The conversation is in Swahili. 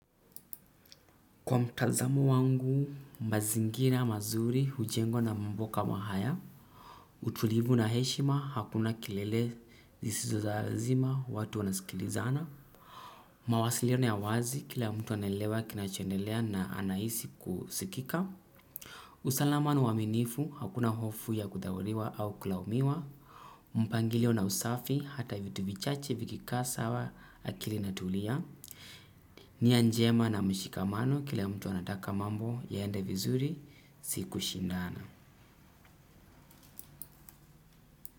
Kwa mtazamo wangu, mazingira, mazuri, hujengwa na mambo kama haya. Utulivu na heshima, hakuna kelele zisizo za lazima, watu wanasikilizana. Utulivu na heshima, hakuna kelele zisizo za lazima, watu wanasikilizana. Usalama na uaminifu, hakuna hofu ya kutawaliwa au kulaumiwa. Mpangilio na usafi hata vitu vichache vikikaa sawa akili inatulia. Ni a njema na mshikamano kila mtu anataka mambo yaende vizuri sikushindana.